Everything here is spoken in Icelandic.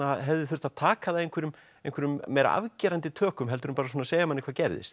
hefði þurft að taka það einhverjum einhverjum meira afgerandi tökum heldur en segja manni hvað gerðist